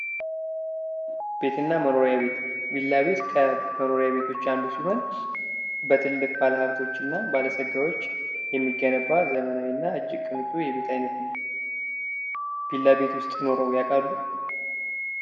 ቤት እና መኖሪያ ቤት ቪላ ቤት ከመኖሪያ ቤቶች አንዱ ሲሆን በትልቅ ባለሃብቶች እና ባለጸጋዎች የሚገነባ ዘመናዊ እና እጅግ ቅንጡ የቤት ዓይነት ነው። ቪላ ቤች ውስጥ ኑረው ያውቃሉ?